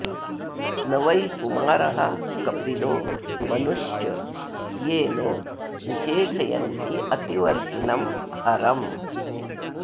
न वै कुमारः कपिलो मनुश्च ये नो निषेधन्त्यतिवर्तिनं हरम्